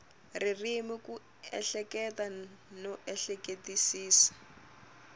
ririmi ku ehleketa no ehleketisisa